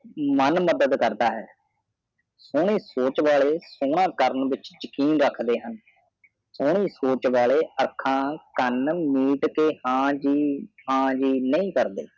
ਮਾਨ ਮਦਾਦ ਕਾਦਰ ਹੈ ਸੂਨੇ ਸੋਚ ਵਾਲੇ ਸੋਨਾ ਕਰਨ ਵਿਚ ਯਾਕਿਂਨ ਰੇਖਦੇ ਹਨ ਸੋਨੇ ਸੋਚ ਵਾਲੇ ਅੱਖਾਂ ਕਾਂਨ ਮੀਚਕੇ ਹਾਜੀ ਹਾਜੀ ਨਹੀਂ ਕਰਦੇ